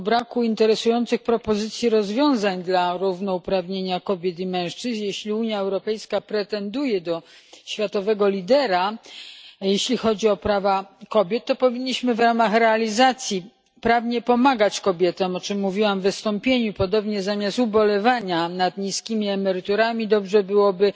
Zagłosowałam przeciwko dokumentowi z powodu braku interesujących propozycji rozwiązań w zakresie równouprawnienia kobiet i mężczyzn. Jeśli Unia Europejska pretenduje do roli światowego lidera, jeśli chodzi o prawa kobiet, to powinniśmy w ramach realizacji prawnie pomagać kobietom, o czym mówiłam w wystąpieniu. Podobnie, zamiast ubolewania nad niskimi emeryturami, dobrze byłoby